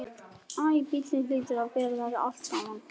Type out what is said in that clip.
Æ, bíllinn hlýtur að bera þetta allt saman.